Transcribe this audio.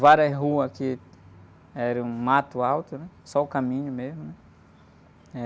Várias ruas aqui, eram um mato alto, né? Só o caminho mesmo.